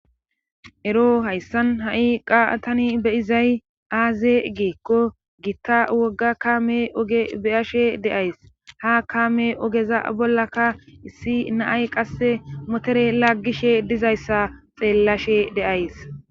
Ero hayssan ha7i qaatani beyizay aaze geekko giitta wogga kaame oge beyashe deays ha kaame ogeza bollaka issi naay qasse motere laggishe dizayssa xeellashe deays